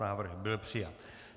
Návrh byl přijat.